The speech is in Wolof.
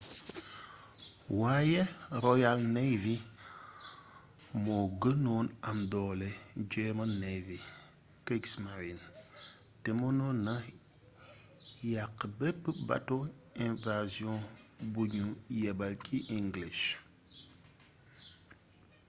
waaye royal navy moo gënoon am doole german navy kriegsmarine” te mënoon naa yàq bépp bato invasion buñu yébbal ci english